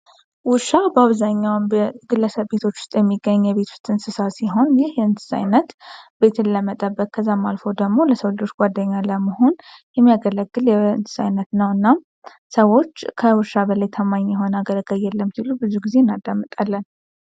ውሻ በአብዛኛው በግለሰብ ቤት ውስጥ የሚገኝ የቤት እንስሳ ሲሆን ይህ የእንስሳ አይነት ቤትን ለመጠበቅ ከዛም አልፎ ደግሞ ለሰው ልጆች ጓደኛ ለመሆን የሚያገለግል የእንስሳ አይነት ነው። እና ሰዎች ከውሻ በላይ ታማኝ የሆነ አገልጋይ የለም ሲሉ ብዙውን ጊዜ እናዳምጣለን።